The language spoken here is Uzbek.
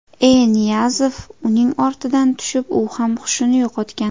E. Niyazov uning ortidan tushib, u ham hushini yo‘qotgan.